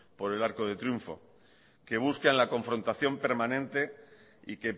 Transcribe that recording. por el arco del triunfo que buscan la confrontación permanente y